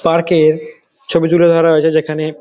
park -এর ছবি তুলে ধরা হয়েছে যেখানে --